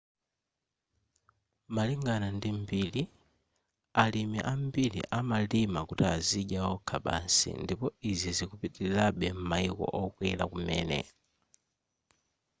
malingana ndi mbiri alimi ambiri amalima kuti azidya okha basi ndipo izi zikupitilirabe m'mayiko okwera kumene